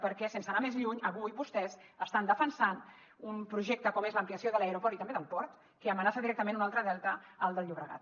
perquè sense anar més lluny avui vostès estan defensant un projecte com és l’ampliació de l’aeroport i també del port que amenaça directament un altre delta el del llobregat